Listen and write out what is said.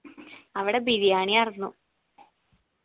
അവിടെ ബിരിയാണി ആയിർന്നു